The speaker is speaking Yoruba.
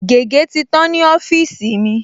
Gègé̀ ti tán ní ọ́fíìsì mi